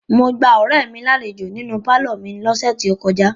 Mo gba ọ̀rẹ́ mi lálejò nínú pálọ̀ mi lọ́sẹ̀ tó kọjá.